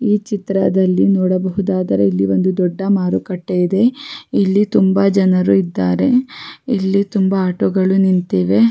ಈ ಚಿತ್ರದಲ್ಲಿ ನೋಡಬಹುದಾದರೆ ಇಲ್ಲಿ ಒಂದು ದೊಡ್ಡ ಮಾರುಕಟ್ಟೆ ಇದೆ ಇಲ್ಲಿ ತುಂಬಾ ಜನರು ಇದ್ದಾರೆ ಇಲ್ಲಿ ತುಂಬಾ ಆಟೋ ಗಳು ನಿಂತಿವೆ.